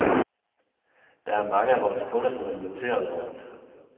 Der er mange af vores kunder, som er irriterede over det.